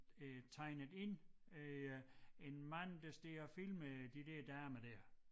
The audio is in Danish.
Øh tegnet ind øh en mand der står og filmer de der damer dér